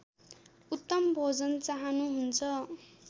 उत्तम भोजन चाहनुहुन्छ